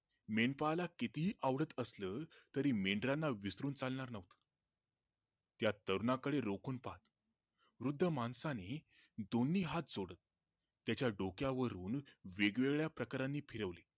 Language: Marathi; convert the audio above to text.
मेंढपाळाला कितीही आवडत असलं तरी मेंढराना विसरून चालणार नव्हतं त्या तरुणा कडे रोखून पाहत वृद्ध माणसाने दोन्ही हात जोडून त्याच्या डोक्यावरून वेगवेगळ्या प्रकाराने फिरवले